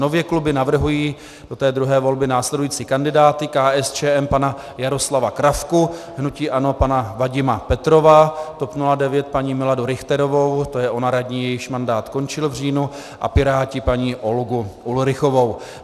Nově kluby navrhují do té druhé volby následující kandidáty: KSČM pana Jaroslava Kravku, hnutí ANO pana Vadima Petrova, TOP 09 paní Miladu Richterovou, to je ona radní, jejíž mandát končil v říjnu, a Piráti paní Olgu Ulrichovou.